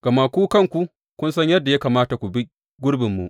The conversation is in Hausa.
Gama ku kanku kun san yadda ya kamata ku bi gurbinmu.